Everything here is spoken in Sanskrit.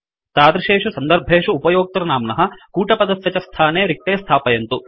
तादृशेषु सन्दर्भेषु उपयोक्तृनाम्नः कूटपदस्य च स्थाने रिक्ते स्थापयन्तु